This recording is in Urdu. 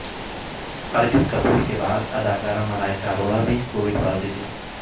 ارجن کپور کے بعد اداکارہ ملائکہ اروڑہ بھی کووڈ پازیٹیو